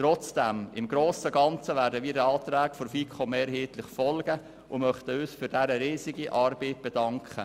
Trotzdem: Im Grossen und Ganzen werden wir den Anträgen der FiKo mehrheitlich folgen und möchten uns für deren riesige Arbeit bedanken.